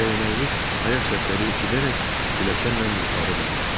Dəyənəkli ayaq səsləri eşidərək pilləkanla yuxarı dırmaşdı.